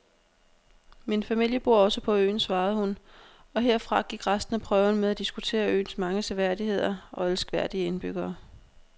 Min familie bor også på øen, svarede hun, og herfra gik resten af prøven med at diskutere øens mange seværdigheder og elskværdige indbyggere.